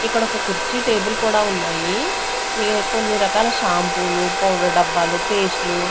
ఇక్కడొక కుర్చీ టేబుల్ కూడా ఉన్నాయి ఈ కొన్ని రకాల షాంపూలు పౌడర్ డబ్బాలు పేస్ట్ లు --